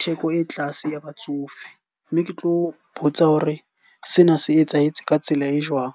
theko e tlase ya batsofe. Mme ke tlo botsa hore sena se etsahetse ka tsela e jwang.